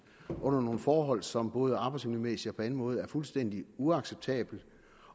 og under nogle forhold som både arbejdsmiljømæssigt og på anden måde er fuldstændig uacceptable